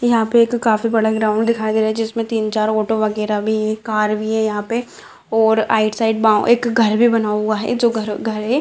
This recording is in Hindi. यहाँ पे एक काफी बड़ा ग्राउंड दिखाई दे रहा है जिसमे तीन चार ऑटो वगैरा भी है कार भी है यहाँ पे और राइट साइड बोउ एक घर भी बना हुआ है जो घर घर है।